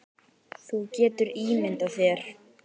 Þú getur ímyndað þér.